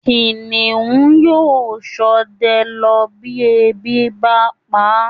Kìnìún yóò ṣọdẹ lọ bí ebi bá pa á